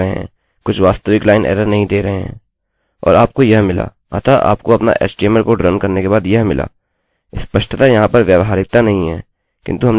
और आपको यह मिला अतः आपको अपना htmlएचटीएमएलकोड रन करने के बाद यह मिला स्पष्टतः यहाँ पर व्यावहारिकता नहीं है किन्तु हमने उसको कर लिया है